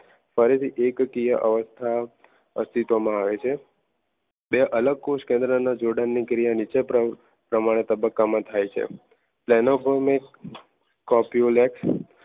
ફરીથી એકકીય અવસ્થા અસ્તિત્વમાં આવે છે. બે અલગ કોષકેન્દ્રના જોડાણ ની ક્રિયાને નીચે પણ તબક્કામાં થાય છે.